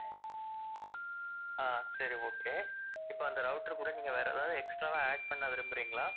ஆஹ் சரி okay இப்ப இந்த router கூட நீங்க வேற எதாவது extra வா add பண்ண விரும்புறீங்களா?